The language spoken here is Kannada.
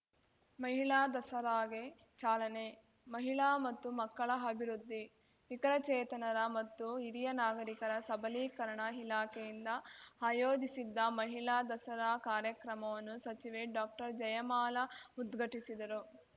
ಮಹಿಳಾ ದಸರಾಗೆ ಚಾಲನೆ ಮಹಿಳಾ ಮತ್ತು ಮಕ್ಕಳ ಅಭಿವೃದ್ಧಿ ವಿಕಲಚೇತನರ ಮತ್ತು ಹಿರಿಯ ನಾಗರಿಕರ ಸಬಲೀಕರಣ ಇಲಾಖೆಯಿಂದ ಆಯೋಜಿಸಿದ್ದ ಮಹಿಳಾ ದಸರಾ ಕಾರ್ಯಕ್ರಮವನ್ನು ಸಚಿವೆ ಡಾಕ್ಟರ್ಜಯಮಾಲಾ ಉದ್ಘಟಿಸಿದರು